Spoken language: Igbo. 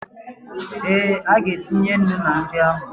Ee, ọ ga-etinye ńnú na nri ahụ